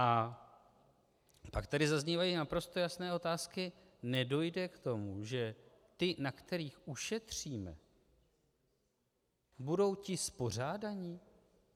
A pak tady zaznívají naprosto jasné otázky: Nedojde k tomu, že ti, na kterých ušetříme, budou ti spořádaní?